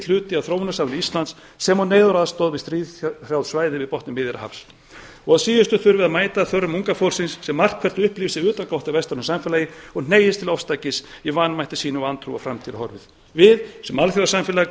hluti af þróunarsamvinnu íslands sem og neyðaraðstoð við stríðshrjáð svæði fyrir botni miðjarðarhafs að síðustu þurfum við að mæta þörfum unga fólksins sem margt hvert upplifir sig utangátta í vestrænu samfélagi og hneigist til ofstækis í vanmætti sínum og vantrú á framtíðarhorfur við sem alþjóðasamfélag